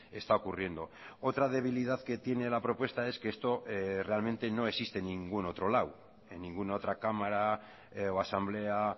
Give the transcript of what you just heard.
está ocurriendo otra debilidad que tiene la propuesta es que esto realmente no existe en ningún otro lado en ninguna otra cámara o asamblea